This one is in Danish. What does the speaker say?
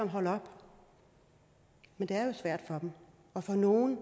holde op men det er jo svært for dem og for nogle